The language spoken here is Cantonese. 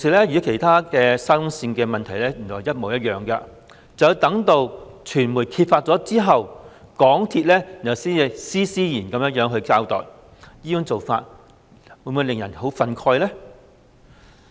與沙田至中環線的其他問題一樣，遭傳媒揭發後，港鐵才施施然交代，這種做法能不令人憤慨？